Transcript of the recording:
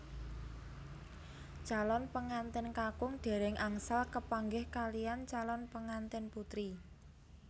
Calon pengantèn kakung dèrèng angsal kepanggih kaliyan calon pengantèn putri